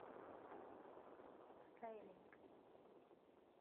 стайлинг